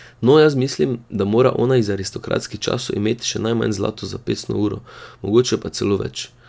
No, jaz mislim, da mora ona iz aristokratskih časov imet še najmanj zlato zapestno uro, mogoče pa celo več.